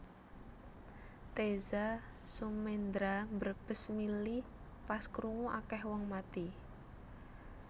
Teza Sumendra mbrebes mili pas krungu akeh wong mati